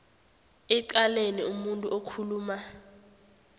ecaleni umuntu okhuluma